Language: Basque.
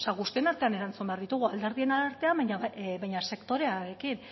guztion artean erantzun behar ditugu alderdien artean baina sektoreekin